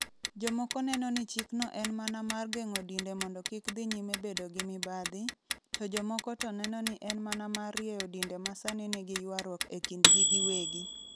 Jomoko neno ni chikno en mana mar geng'o dinde mondo kik dhi nyime bedo gi mibadhi, to jomoko to neno ni en mana mar rieyo dinde ma sani nigi ywaruok e kindgi giwegi.